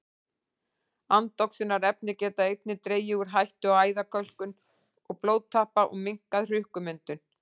Andoxunarefni geta einnig dregið úr hættu á æðakölkun og blóðtappa og minnkað hrukkumyndun.